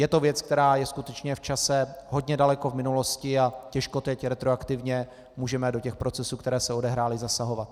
Je to věc, která je skutečně v čase hodně daleko v minulosti a těžko teď retroaktivně můžeme do těch procesů, které se odehrály, zasahovat.